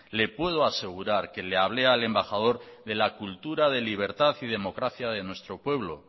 le puedo asegurar que le hablé al embajador de la cultura de libertad y democracia de nuestro pueblo